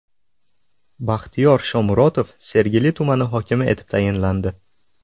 Baxtiyor Shomurotov Sergeli tumani hokimi etib tayinlandi.